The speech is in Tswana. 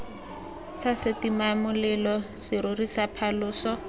sa setimamolelo serori sa phaloso